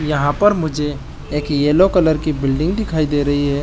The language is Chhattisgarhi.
यहाँ पर मुझे एक येलो कलर की बिल्डिंग दिखाई दे रही है।